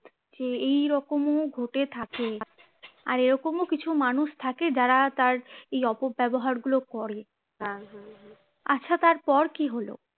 যে এইরকমও ঘটে থাকে আর এরকম ও কিছু মানুষ থাকে যারা তার এই অপব্যবহার গুলো করে আচ্ছা তারপর কি হলো?